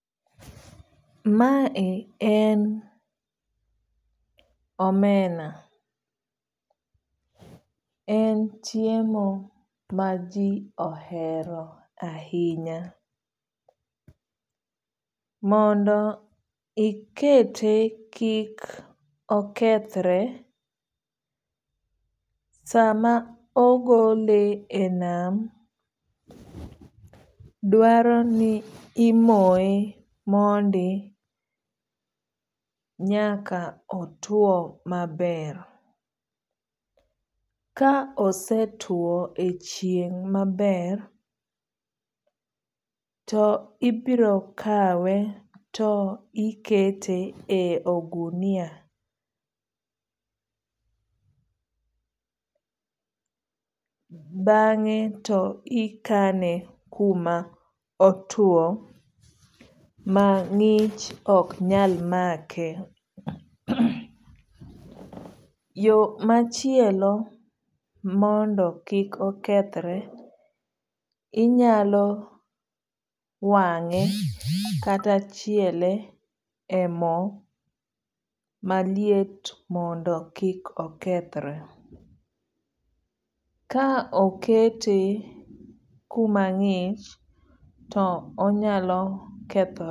Mae en omena. En chiemo ma ji ohero ahinya. Mondo ikete kik okethre, sama ogole e nam dwaro ni imoye mondi nyaka otuo maber. Ka ose tuo e chieng' maber to ibiro kawe to ikete e ogunia. Bang'e to ikane kuma otuo ma ng'ich ok nyal make. Yo machielo mondo kik okethre inyalo wang'e kata chiele e mo maliet mondo kik okethre. Ka okete kuma ng'ich to onyalo.